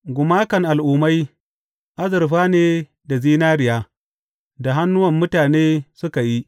Gumakan al’ummai azurfa ne da zinariya, da hannuwan mutane suka yi.